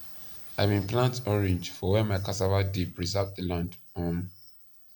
i been plant orange for where my cassava dey preserve the land um